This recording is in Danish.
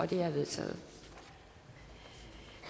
det er vedtaget